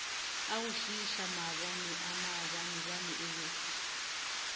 agošiiša maabaneaa maabanebane o be